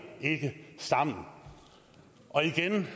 ikke sammen igen vil